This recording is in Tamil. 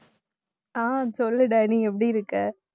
ஆஹ் சொல்லு டைனி எப்படி இருக்க